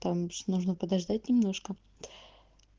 там же нужно подождать немножко